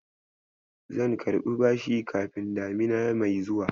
Zan karɓi bashi kafin damina mai zuwa.